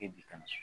E bi ka so